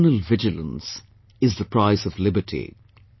Eternal Vigilance is the Price of Liberty